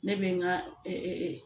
Ne bɛ n ka